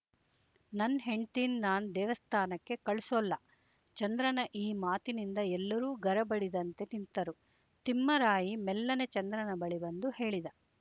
ನನ್ ಹೆಂಡ್ತೀನ್ ನಾನು ದೇವಸ್ಥಾನಕ್ಕೆ ಕಳ್ಸೊಲ್ಲ ಚಂದ್ರನ ಈ ಮಾತಿನಿಂದ ಎಲ್ಲರೂ ಗರಬಡಿದಂತೆ ನಿಂತರು ತಿಮ್ಮರಾಯಿ ಮೆಲ್ಲನೆ ಚಂದ್ರನ ಬಳಿ ಬಂದು ಹೇಳಿದ